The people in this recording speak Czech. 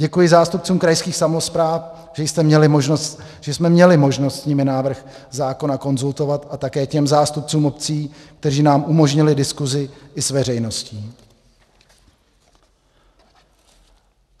Děkuji zástupcům krajských samospráv, že jsme měli možnost s nimi návrh zákona konzultovat, a také těm zástupcům obcí, kteří nám umožnili diskuzi i s veřejností.